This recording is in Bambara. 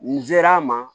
Nin ser'an ma